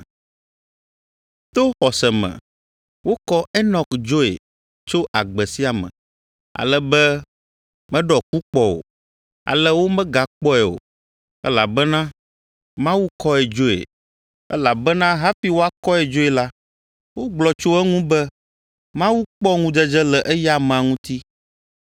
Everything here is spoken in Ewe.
To xɔse me wokɔ Enɔk dzoe tso agbe sia me, ale be meɖɔ ku kpɔ o, ale womegakpɔe o, elabena Mawu kɔe dzoe. Elabena hafi woakɔe dzoe la, wogblɔ tso eŋu be Mawu kpɔ ŋudzedze le eya amea ŋuti.